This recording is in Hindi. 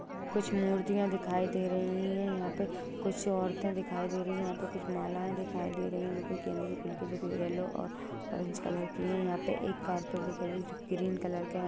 कुछ मूर्तियां दिखाई दे रही है यहा पे कुछ औरते दिखाई दे रही है यहा पे कुछ माला दिखाई दे रही है जो कि गेंदे की फूल की जरी हुई है येलो और ऑरेंज कलर की है यहा पे एक कार्पेट दिखाईं दे रही जो ग्रीन कलर की है।